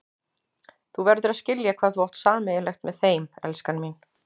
Þú verður að skilja hvað þú átt sameiginlegt með þeim, elskan mín.